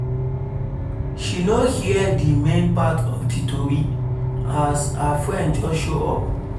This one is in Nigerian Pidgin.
she no hear the main part of the tori as her friend just show up